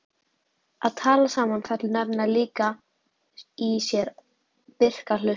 Að tala saman felur nefnilega líka í sér virka hlustun.